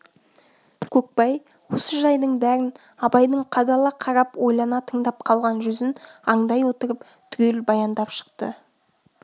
көкбай осы жайдың бәрін абайдың қадала қарап ойлана тыңдап қалған жүзін аңдай отырып түгел баяндап шықты